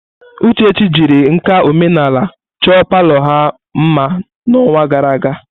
Uchechi jiri nka omenala chọọ palọ ha mma n'ọnwa gara aga.